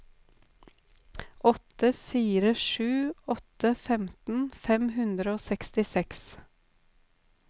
åtte fire sju åtte femten fem hundre og sekstiseks